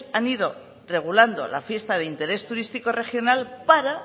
han ido regulando la fiesta de interés turístico regional para